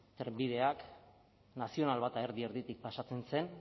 trenbideak nazionalminus bata erdi erditik pasatzen zen